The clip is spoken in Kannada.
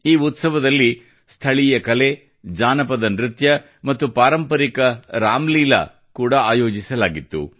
ಈ ಉತ್ಸವದಲ್ಲಿ ಸ್ಥಳೀಯ ಕಲೆ ಜಾನಪದ ನೃತ್ಯ ಮತ್ತು ಪಾರಂಪರಿಕ ರಾಮಲೀಲಾ ಕೂಡಾ ಆಯೋಜಿಸಲಾಗಿತ್ತು